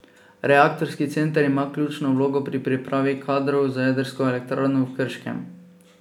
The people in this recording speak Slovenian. Reaktorski center ima ključno vlogo pri pripravi kadrov za jedrsko elektrarno v Krškem.